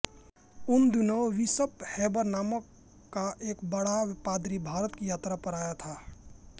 उन दिनों bishop Heber नाम का एक बड़ा पादरी भारत की यात्रा पर आया था